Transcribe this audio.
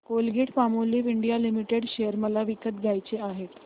Colgate Palmolive India limited share मला विकत घ्यायचे आहेत